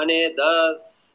અને દર